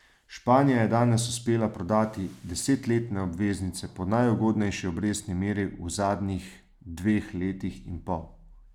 Španija je danes uspela prodati desetletne obveznice po najugodnejši obrestni meri v zadnjih dveh letih in pol.